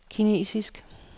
kinesisk